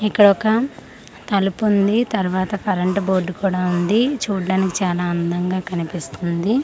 ఇక్కడ ఒక తలుపు ఉంది తరువాత కరెంట్ బోర్డ్ కూడా ఉంది చూడడానికి చనా అందంగా కనిపిస్తుంది.